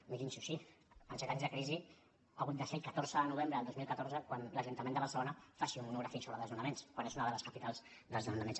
mirin s’ho així en set anys de crisi ha hagut de ser el catorze de novembre del dos mil catorze quan l’ajuntament de barcelona faci un monogràfic sobre desnonaments quan és una de les capitals dels desnonaments